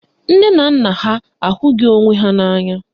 Nne na nna ha ahụghị onwe ha n'anya